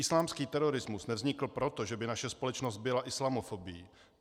Islámský terorismus nevznikl proto, že by naše společnost byla islamofobní.